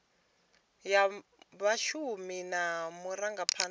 ya vhashumi na vhurangaphanda ha